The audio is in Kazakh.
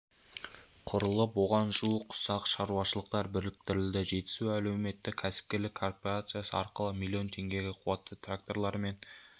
құрылып оған жуық ұсақ шаруашылықтар біріктірілді жетісу әлеуметтік-кәсіпкерлік корпорациясы арқылы миллион теңгеге қуатты тракторлар мен